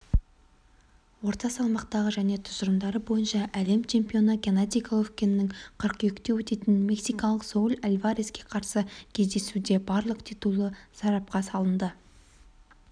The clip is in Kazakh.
орта салмақтағы және тұжырымдары бойынша әлем чемпионы геннадий головкиннің қыркүйекте өтетін мексикалық сауль альвареске қарсы кездесуде барлық титулы сарапқа салынады